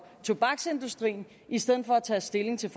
tobaksindustrien i stedet for at tage stilling til